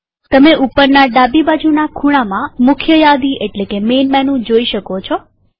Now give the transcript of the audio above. તમે ઉપરના ડાબી બાજુના ખૂણામાં મુખ્ય યાદી જોઈ શકો છો